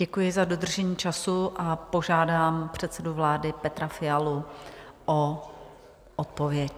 Děkuji za dodržení času a požádám předsedu vlády Petra Fialu o odpověď.